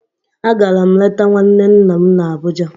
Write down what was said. Agara m leta nwanne nna m na Abuja